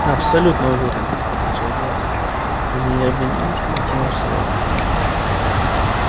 абсолютно уверен отвечал блэк они не обменялись ни единым словом